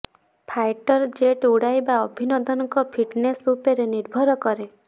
fighter jet ଉଡ଼ାଇବା ଅଭିନନ୍ଦନଙ୍କ fitness ଉପରେ ନିର୍ଭର କରେ